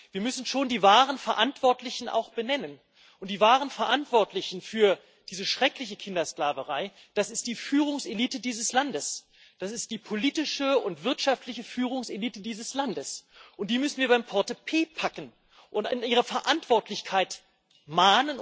Wir müssen schon die wahren Verantwortlichen auch benennen, und die wahren Verantwortlichen für diese schreckliche Kindersklaverei, das ist die Führungselite dieses Landes, das ist die politische und wirtschaftliche Führungselite dieses Landes, und die müssen wir beim Portepee packen und an ihre Verantwortlichkeit erinnern.